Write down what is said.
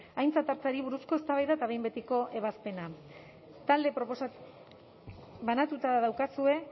aintzat hartzeari buruzko eztabaida eta behin betiko ebazpena talde proposatzailea banatuta daukazue